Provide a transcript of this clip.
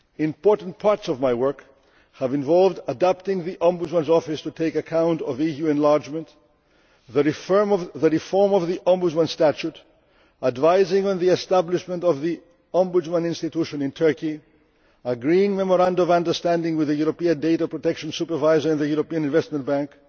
Important parts of my work have involved adapting the Ombudsman's Office to take account of enlargement, the reform of the Ombudsman Statute, advising on the establishment of the Ombudsman institution in Turkey, agreeing the Memorandum of Understanding with the European Data Protection Supervisor in the European Investment